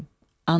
ana dilim.